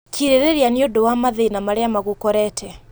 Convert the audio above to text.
Kirĩrĩria nĩ ũndũwa mathĩna marĩa magũkorete